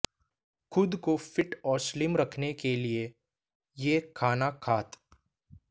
खुद को फिट और स्लिम रखने के लिए ये खाना खात